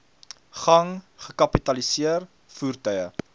gang gekapitaliseer voertuie